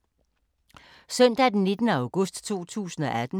Søndag d. 19. august 2018